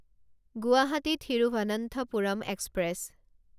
Guwahati Thiruvananthapuram express